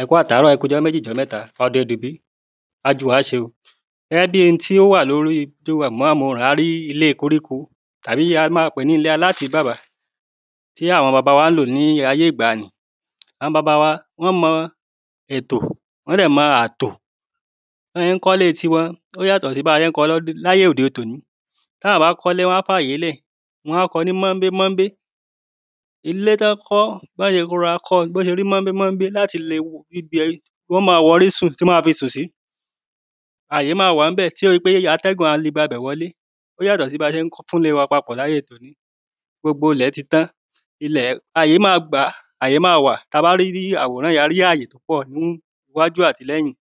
ẹ kú àtàárọ́, ẹ kúujọ́ méjì, ijọ́ mẹ́ta, ọ̀dẹ̀ ò dún bí, á jù wá ṣe o. gẹ́gẹ́ bíi ohun tí ó wà lóri àwòrán yìí, a rí ilé koríko, àbí a máa pèé ní ilé alátìíbàbá tí àwọn baba wa lò ní ayé ìgbanì. àwọn baba wa wọ́n mọ ètò, wọ́n dẹ̀ mọ àtò, bí wọ́n ṣe ń kọ́ ilé tìwọn ó yàtọ̀ sí bí a ṣe ń kọ́ ọ ní ayé òde tòní tí àwọn bá kọ́ ilé, wọ́n á fi àyé lẹ̀, wọ́n á kọ́ ọ ní mọ́ńbé mọ́ńbé. ilé tí wọ́n kọ́, bọ́ ṣe rọra kọ́ ọ bó ṣe rí mọ́ńbé mọ́ńbé, láti lè rí ibi tí wọ́n má a wọrí fi sùn sí àyè máa wà níbẹ̀, tí ó ṣe pé atẹ́gùn a lè gba ibẹ̀ wọlé, ó yàtọ̀ sí bí a ṣe fún ilé wa papọ̀ ní ayé tòní gbogbo ilẹ̀ ti tán, àyè máa wà, àyè máa gbàá, tí a bá rí àwòrán, a rí àyè púpọ̀ ní iwájú àti ní ẹ̀yìn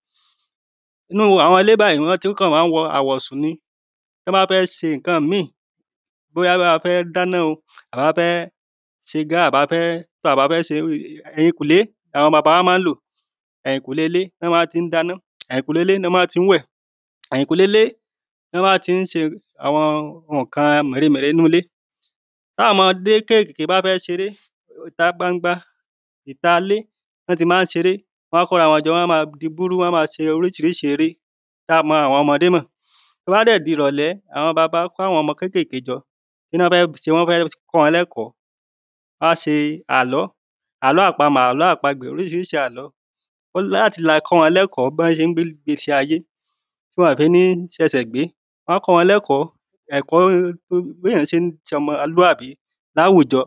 nínu àwọn ilé báyìí wọ́n kàn máa wọ àwọ̀sùn ni, tí wọ́n bá fẹ́ ṣe ǹkan míi bóyá a bá fẹ́ dáná, àbí a fẹ́ ṣe gá o, ẹ̀yìn kùlé làwọn baba wa ma ń lọ ẹ̀yìn kùle ilé ni wọ́n máa ti dáná, ẹ̀yìn kùle ilé ni wọ́n máa ti wẹ̀, ẹ̀yìn kùle ilé ni wọ́n máa ti ṣe àwọn ǹkan mèremère inú ilé tí àwọn ọmọ kékeké bá fẹ́ ṣeré, ìtagbangba, ìta ilé ni wọ́n ti máa ṣeré, wọ́n máa kóra wọn jọ, wọ́n a máa di búrú, wọ́n á máa ṣe oríṣiríṣi eré tí a mọ́ ọmọdé mọ̀ tó bá dẹ̀ di ìrọ̀lẹ́, àwọn baba wa á kó àwọn ọmọdé jọ, kí ni wọ́n fẹ ṣe? wọ́n fẹ́ kọ́ wọn lẹ́kọ̀ọ́, ì báà ṣe àlọ́, àlọ́ àpamọ̀, àlọ́ àpagbè, oríṣiríṣi àlọ́ láti lè kọ́ wọn ní ẹ̀kọ́ bí wọ́n ṣe gbé ìgbésí ayé tí wọ́n ò fi ní ṣi ẹsẹ̀ gbé wọ́n á kọ́ wọn ní ẹ̀kọ́ bí èyàn ṣe ṣe ọmọlúàbí ní àwùjọ